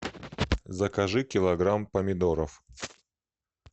закажи килограмм помидоров